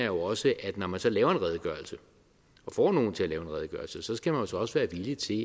jo også at når man så laver en redegørelse og får nogle til at lave en redegørelse skal man så også være villig til